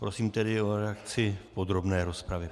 Prosím tedy o reakci v podrobné rozpravě.